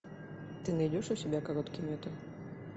ты найдешь у себя короткий метр